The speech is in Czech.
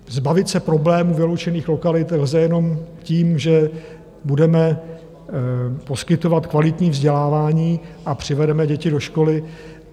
Zbavit se problémů vyloučených lokalit lze jenom tím, že budeme poskytovat kvalitní vzdělávání a přivedeme děti do školy.